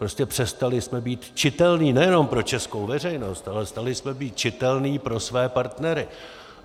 Prostě přestali jsme být čitelní nejenom pro českou veřejnost, ale přestali jsme být čitelní pro své partnery.